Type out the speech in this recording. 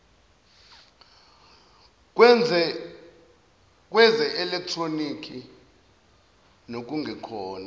kweze elekhtronikhi nokungekhona